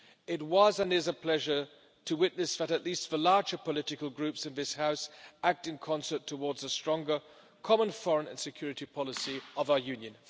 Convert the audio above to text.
It was, and is a pleasure, to witness that at least the larger political groups in this House act in concert towards a stronger Common Foreign and Security Policy of our Union.